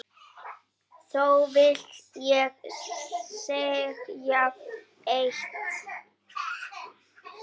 Þó vil ég segja eitt.